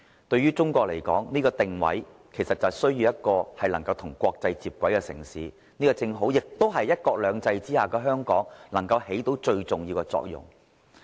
對於中國來說，這個定位就是需要一個能夠與國際接軌的城市，這正好是"一國兩制"之下的香港能夠起到最重要的作用。